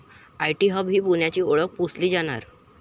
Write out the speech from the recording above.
IT hub ही पुण्याची ओळख पुसली जाणार?